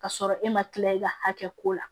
K'a sɔrɔ e ma kila i ka hakɛ ko la